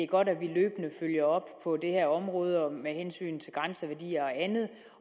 godt at vi løbende følger op på det her område med hensyn til grænseværdier og andet